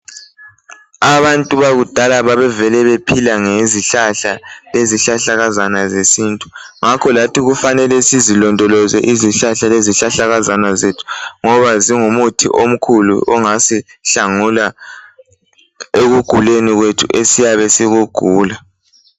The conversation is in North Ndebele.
Abantu bakudala babevele bephila ngezihlahla lesihlahlakazana zesintu ngakho lathi kufanele sizilondoloze izihlahla lezihlahlakazana zethu ngoba zingumuthi omkhulu ongasihlangula ekuguleni kwethu esiyabe sikugula.